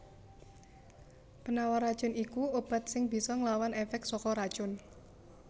Penawar racun iku obat sing bisa nglawan èfèk saka racun